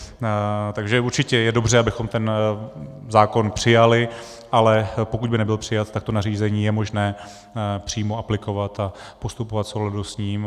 Takže určitě je dobře, abychom ten zákon přijali, ale pokud by nebyl přijat, tak to nařízení je možné přímo aplikovat a postupovat v souladu s ním.